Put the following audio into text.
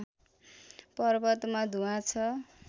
पर्वतमा धुवाँ छ